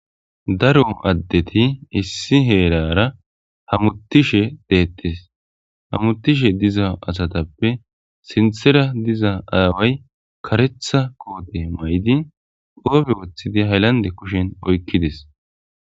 Daro addeti issi heerara hamutishe deettes, hamutishe diza asatappe sinthera diza aaway karetha koote maydi qoobe woththidi haylande kushen oykkides.